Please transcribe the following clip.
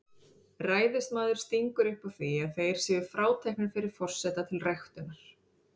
Ræðismaður stingur upp á því að þeir séu fráteknir fyrir forseta til ræktunar.